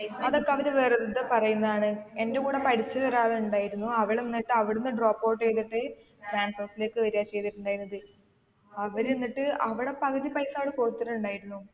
അതൊക്കെ അവര് വെറുതെ പറയുന്നതാണ് എൻ്റെ കൂടെ പഠിച്ച ഒരാൾ ഇണ്ടായിരുന്നു അവൾ എന്നിട്ട് അവിടെന്നു drop out എയ്തിട്ട് transorze ലേക്ക് വരാ ചെയ്തിട്ടുണ്ടായിരുന്നത് അവര് എന്നിട്ട് അവിടെ പകുതി പൈസ അവിടെ കൊടുത്തിട്ടുണ്ടായിരുന്നു